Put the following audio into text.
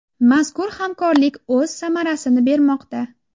Mazkur hamkorlik o‘z samarasini bermoqda.